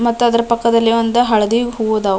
ಮತ್ತ್ ಅದ್ರ ಪಕ್ಕದಲ್ಲಿ ಒಂದ್ ಹಳದಿ ಹೂವು ಆದವು .